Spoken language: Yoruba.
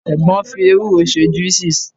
egbon fi ewuro se juices